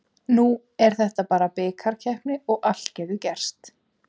Nú er þetta bara bikarkeppni og allt getur gerst.